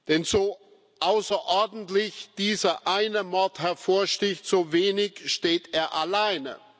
Denn so außerordentlich dieser eine Mord hervorsticht, so wenig steht er alleine.